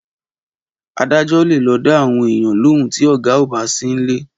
Adájọ́ le lo da àwọn eyan lóun ti oga ọba Sin le